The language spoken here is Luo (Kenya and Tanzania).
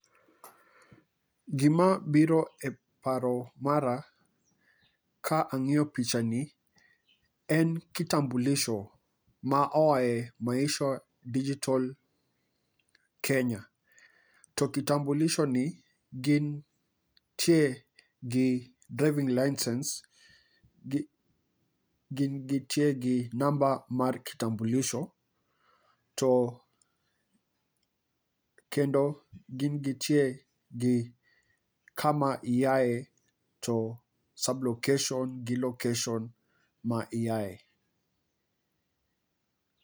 Gima biro e paro mara ka ang'iyo picha ni en kitambulisho ma oae Maisha Digital Kenya. To kitambulisho ni, gintie gi driving license, gin gi tie gi namba mar kitambulisho, to kendo gin gitie gi kama iae. To sublocation gi location ma iae.